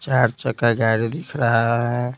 चार चक्का गाड़ी दिख रहा है।